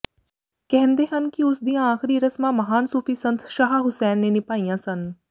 ਕਹਿੰਦੇ ਹਨ ਕਿ ਉਸ ਦੀਆਂ ਆਖਰੀ ਰਸਮਾਂ ਮਹਾਨ ਸੂਫੀ ਸੰਤ ਸ਼ਾਹ ਹੁਸੈਨ ਨੇ ਨਿਭਾਈਆਂ ਸਨ